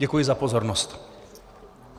Děkuji za pozornost.